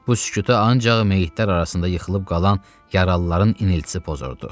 Bu sükutu ancaq meyitlər arasında yıxılıb qalan yaralıların iniltisi pozurdu.